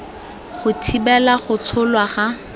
go thibela go tsholwa ga